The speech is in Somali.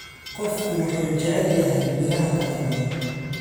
Qofku wuxuu jecel yahay miraha kala duwan.